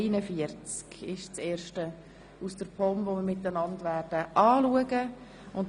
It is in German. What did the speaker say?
Aber Sie können schon zu Traktandum 41 blättern.